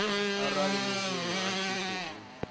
arali mushumi a tshi khou